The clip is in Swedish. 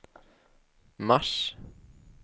mars